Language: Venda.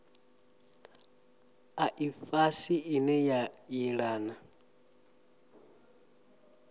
a ifhasi ine a yelana